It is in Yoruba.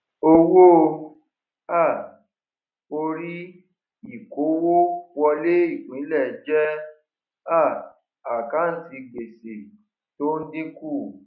owó um orí ìkówówọlé ipinle jẹ um àkántì gbèsè tó ń dínkù